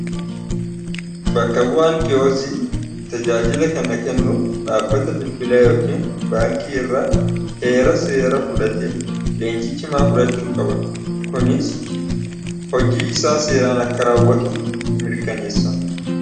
Bakka bu'aan ki'ozii tajaajila kenna kennuuf dhaabbata bilbilaa yookiin baankii irra heera seera fudhate leenjiichimaa fudhachuu qaba kuniis hojii isaa seeraan akka raawwatu mirkaneessa.